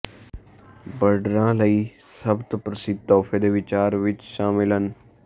ਬਰਡਰਾਂ ਲਈ ਸਭ ਤੋ ਪ੍ਰਸਿੱਧ ਤੋਹਫ਼ੇ ਦੇ ਵਿਚਾਰ ਵਿਚ ਸ਼ਾਮਲ ਹਨ